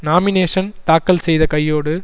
nomination தாக்கல் செய்த கையோடு